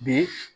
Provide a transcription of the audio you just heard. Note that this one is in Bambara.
Bi